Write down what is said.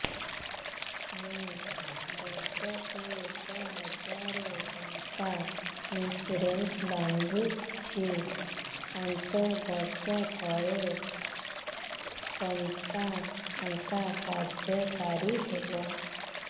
ମୁ ବର୍ଷ କୁ ଏକ ହଜାରେ ଟଙ୍କା ଇନ୍ସୁରେନ୍ସ ବାନ୍ଧୁଛି ପାଞ୍ଚ ବର୍ଷ ପରେ କଟା ଟଙ୍କା କାର୍ଯ୍ୟ କାରି ହେବ